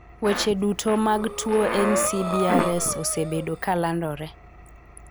Weche duto mag tuo NCBRS osebedo ka landore.